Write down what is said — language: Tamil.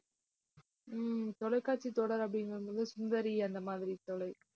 உம் தொலைக்காட்சித் தொடர் அப்படின்னும் போது, சுந்தரி அந்த மாதிரி தொலை~